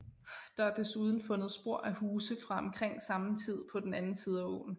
Der er desuden fundet spor af huse fra omkring samme tid på den anden side af åen